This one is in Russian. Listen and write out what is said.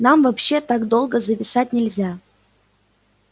нам вообще так долго зависать нельзя